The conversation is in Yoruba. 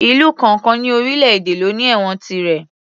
Ìlú kọ̀ọ̀kan ní orílè èdè ló ní ẹ̀wọ̀n tirẹ̀